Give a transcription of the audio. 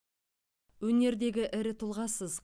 өнердегі ірі тұлғасыз